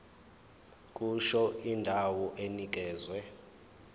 kusho indawo enikezwe